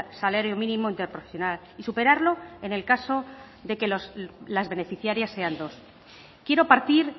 salario mínimo interprofesional y superarlo en el caso de las beneficiarias sean dos quiero partir